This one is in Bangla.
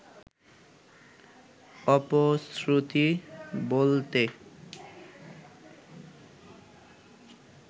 অপশ্রুতি বলতে